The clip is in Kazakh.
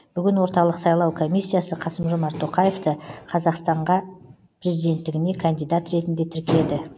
бүгін орталық сайлау комиссиясы қасым жомарт тоқаевты қазақстанға президенттігіне кандидат ретінде тіркеді